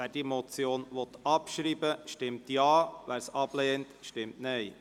Wer diese Motion abschreiben will, stimmt Ja, wer dies ablehnt, stimmt Nein.